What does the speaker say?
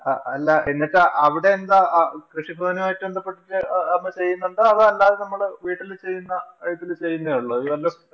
അല്ല എന്നിട്ട് അവിടെ എന്താ കൃഷി ഭവനുമായി ബന്ധപ്പെട്ടിട്ടു അമ്മ ചെയ്യുന്നുണ്ടോ? അല്ലാതെ നമ്മള് വീട്ടില് ചെയ്യുന്ന ഇതില് ചെയ്യുന്നേ ഒള്ളോ.